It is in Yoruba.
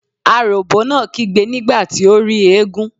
Aròbó náà kígbe nígbà tí ó rí eégún.